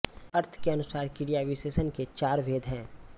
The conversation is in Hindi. अर्थ के अनुसार क्रियाविशेषण के चार भेद हैं